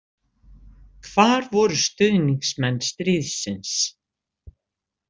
Hvar voru stuðningsmenn stríðsins?